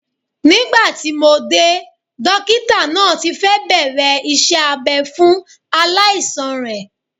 Nígbà tí mo dé, dókítà náà ti fẹ́ bẹ̀rẹ̀ iṣẹ́ abɛ́ fún aláìsàn rẹ̀